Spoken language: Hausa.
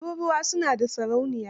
Turuwai su na da sarauniya.